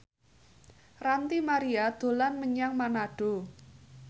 Ranty Maria dolan menyang Manado